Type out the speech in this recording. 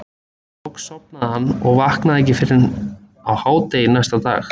Loks sofnaði hann og vaknaði ekki fyrr en á hádegi næsta dag.